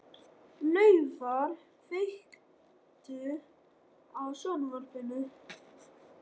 Laufar, kveiktu á sjónvarpinu.